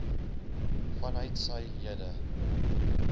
vanuit sy lede